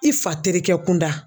I fa terikɛ kunda